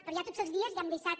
però ja tots els dies hi hem deixat